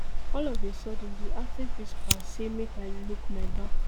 all of a sudden di acting principal say make i look my back